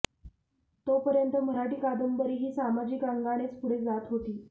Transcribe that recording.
तोपर्यंत मराठी कादंबरी ही सामाजिक अंगानेच पुढे जात होती